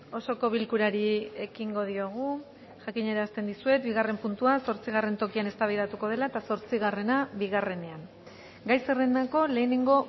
osoko bilkurari ekingo diogu jakinarazten dizuet bigarren puntua zortzigarren tokian eztabaidatuko dela eta zortzigarrena bigarrenean gai zerrendako lehenengo